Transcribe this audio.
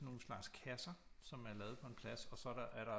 Sådan nogle slags kasser som er lavet på en plads og så er der er der